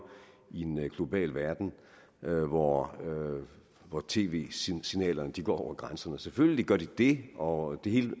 i en global verden hvor hvor tv signalerne går over grænserne selvfølgelig gør de det og hele